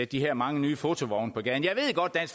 de her mange nye fotovogne på gaden jeg ved godt at